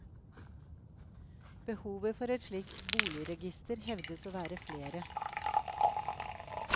Behovet for et slikt boligregister hevdes å være flere.